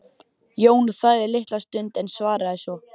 Jón þagði litla stund en svaraði svo